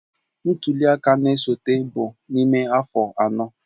Ntuli aka na-esote bụ n'ime afọ anọ.